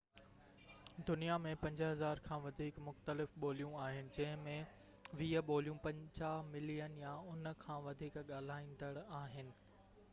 دنيا ۾ 5000 کان وڌيڪ مختلف ٻوليون آهن جنهن ۾ 20 ٻوليون 50 ملين يا ان کان وڌيڪ ڳالهائيندڙ آهن